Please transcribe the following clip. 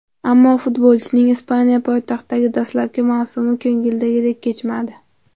Ammo futbolchining Ispaniya poytaxtidagi dastlabki mavsumi ko‘ngidagidek kechmadi.